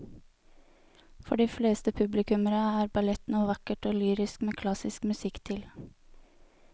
For de fleste publikummere er ballett noe vakkert og lyrisk med klassisk musikk til.